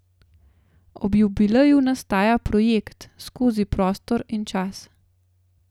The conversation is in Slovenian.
Ob jubileju nastaja projekt Skozi prostor in čas.